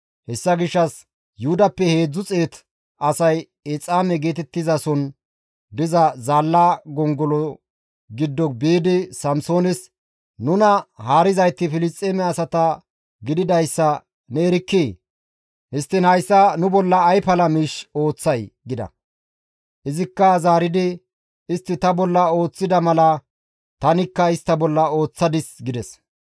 Hessa gishshas Yuhudappe 300 asay Exaame geetettizason diza zaalla gongolo giddo biidi Samsoones, «Nuna haarizayti Filisxeeme asata gididayssa ne erkkii? Histtiin hayssa nu bolla ay pala miish ooththay?» gida. Izikka zaaridi, «Istti ta bolla ooththida mala tanikka istta bolla ooththadis» gides.